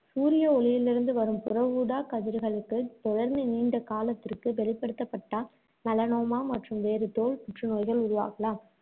சூரிய ஒளியிலிருந்து வரும் புற ஊதாக்கதிர்களுக்குத் தொடர்ந்து நீண்ட காலத்திற்கு வெளிப்படுத்தப்பட்டால் melanoma மற்றும் வேறு தோல் புற்றுநோய்கள் உருவாகலாம்.